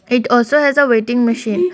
it also has a weighing machine.